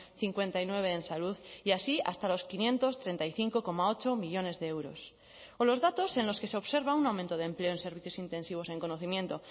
cincuenta y nueve en salud y así hasta los quinientos treinta y cinco coma ocho millónes de euros o los datos en los que se observa un aumento de empleo en servicios intensivos en conocimiento